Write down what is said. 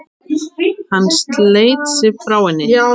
Hann sleit sig frá henni.